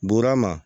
Buru ma